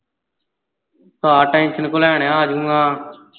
ਹਾਂ tension ਕਿਓਂ ਲੈਣ ਨਿਆ ਆਜੂੰਗਾ।